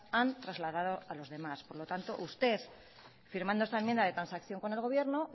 han trasladado a lo demás por lo tanto usted firmando esta enmienda de transacción con el gobierno